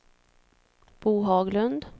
Bo Haglund